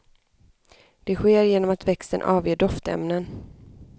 Det sker genom att växten avger doftämnen.